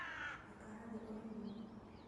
Ikara thĩ ũrĩe irĩo